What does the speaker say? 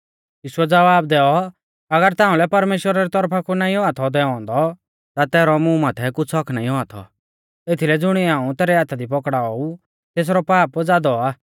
यीशुऐ ज़वाब दैऔ अगर ताउंलै परमेश्‍वरा री तौरफा कु नाईं औआ थौ दैऔ औन्दौ ता तैरौ मुं माथै कुछ़ हक्क्क नाईं औआ थौ एथीलै ज़ुणिऐ हाऊं तेरै हाथा दी पकड़ाऔ ऊ तेसरौ पाप ज़ादौ आ